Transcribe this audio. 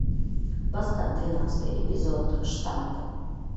поставь двенадцатый эпизод штамп